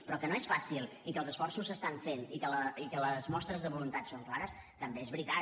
però que no és fàcil i que els esforços es fan i que les mostres de voluntat són clares també és veritat